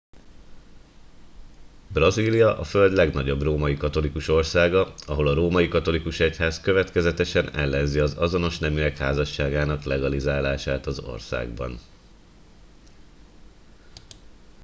brazília a föld legnagyobb római katolikus országa ahol a római katolikus egyház következetesen ellenzi az azonos neműek házasságának legalizálását az országban